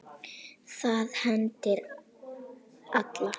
Það hendir alla